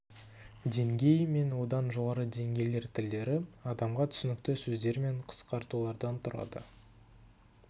деңгей мен одан жоғары деңгейлер тілдері адамға түсінікті сөздер мен қысқартулардан тұрады